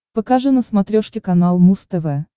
покажи на смотрешке канал муз тв